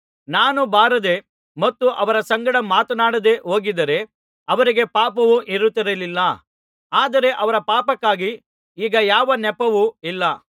ನಾನು ಬಾರದೆ ಮತ್ತು ಅವರ ಸಂಗಡ ಮಾತನಾಡದೆ ಹೋಗಿದ್ದಾರೆ ಅವರಿಗೆ ಪಾಪವು ಇರುತ್ತಿರಲಿಲ್ಲ ಆದರೆ ಅವರ ಪಾಪಕ್ಕಾಗಿ ಈಗ ಯಾವ ನೆಪವೂ ಇಲ್ಲ